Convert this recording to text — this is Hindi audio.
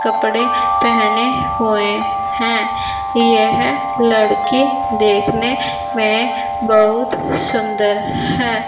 कपड़े पहने हुए हैं यह लड़के देखने में बहुत सुंदर है।